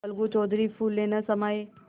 अलगू चौधरी फूले न समाये